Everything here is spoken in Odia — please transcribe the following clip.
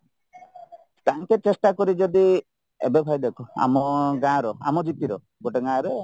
ତାଙ୍କେ ଚେଷ୍ଟା କରି ଯଦି ଏବେ ଭାଇ ଦେଖ ଆମ ଗାଁ ର ଆମ gp ର ଗୋଟେ ଗାଁ ରେ